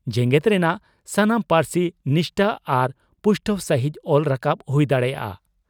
ᱡᱮᱜᱮᱛ ᱨᱮᱱᱟᱜ ᱥᱟᱱᱟᱢ ᱯᱟᱹᱨᱥᱤ ᱱᱤᱥᱴᱟᱹ ᱟᱨ ᱯᱩᱥᱴᱟᱹᱣ ᱥᱟᱹᱦᱤᱡ ᱚᱞ ᱨᱟᱠᱟᱵ ᱦᱩᱭ ᱫᱟᱲᱮᱭᱟᱜᱼᱟ ᱾